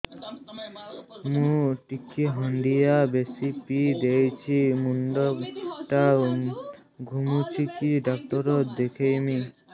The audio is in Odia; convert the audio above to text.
ମୁଇ ଟିକେ ହାଣ୍ଡିଆ ବେଶି ପିଇ ଦେଇଛି ମୁଣ୍ଡ ଟା ଘୁରୁଚି କି ଡାକ୍ତର ଦେଖେଇମି